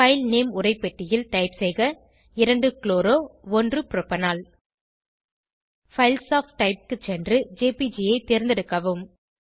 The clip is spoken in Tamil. பைல் நேம் உரைப்பெட்டியில் டைப் செய்க 2 chloro 1 propanol files of type க்கு சென்று ஜேபிஜி ஐ தேர்ந்தெடுக்கவும்